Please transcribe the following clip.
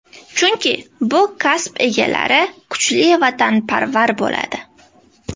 Chunki bu kasb egalari kuchli vatanparvar bo‘ladi.